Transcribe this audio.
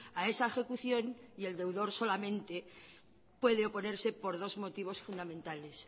a esa ejecución y el deudor solamente puede oponerse por dos motivos fundamentales